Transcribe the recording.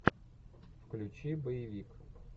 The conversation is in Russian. включи боевик